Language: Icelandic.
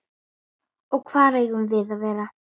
Og hvar eigum við að vera?